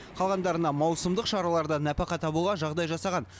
қалғандарына маусымдық шараларда нәпақа табуға жағдай жасаған